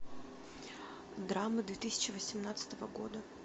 драмы две тысячи восемнадцатого года